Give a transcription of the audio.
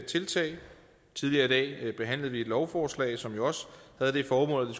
tiltag tidligere i dag behandlede vi et lovforslag som jo også havde det formål at